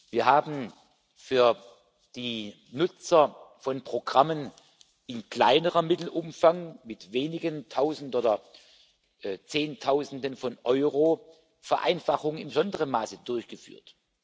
Wir haben für die Nutzer von Programmen in kleinerem Mittelumfang mit wenigen Tausenden oder Zehntausenden von Euro in besonderem Maße Vereinfachungen durchgeführt.